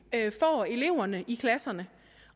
får eleverne i klasserne